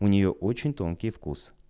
у нее очень тонкий вкус